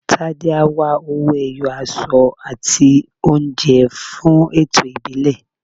Tádé á wá owó-ẹyọ, aṣọ àti oúnjẹ fún ẹ̀tọ́ ìbílẹ̀.